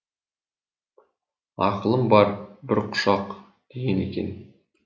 ақылым бар бір құшақ деген екен